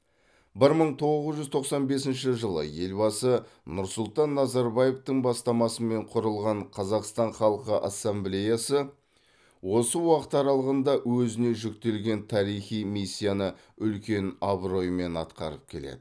бір мың тоғыз жүз тоқсан бесінші жылы елбасы нұрсұлтан назарбаевтың бастамасымен құрылған қазақстан халқы ассамблеясы осы уақыт аралығында өзіне жүктелген тарихи миссияны үлкен абыроймен атқарып келеді